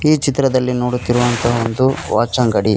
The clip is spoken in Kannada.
ಈ ಚಿತ್ರದಲ್ಲಿ ನೋಡುತ್ತಿರುವಂತ ಒಂದು ವಾಚ್ ಅಂಗಡಿ.